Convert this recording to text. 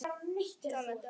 Það lendir á okkur.